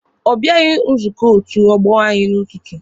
Ọ bịaghị nzukọ otu ọgbọ anyị n'ụtụtụ.